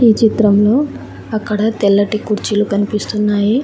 ఈ చిత్రంలో అక్కడ తెల్లటి కుర్చీలు కనిపిస్తున్నాయి.